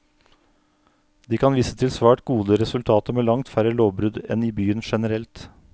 De kan vise til svært gode resultater, med langt færre lovbrudd enn i byen generelt.